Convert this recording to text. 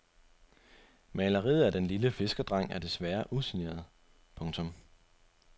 Maleriet af den lille fiskerdreng er desværre usigneret. punktum